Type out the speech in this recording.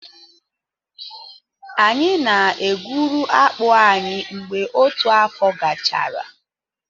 Anyị na-egwuru akpụ anyị mgbe otu afọ gachara.